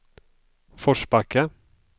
Forsbacka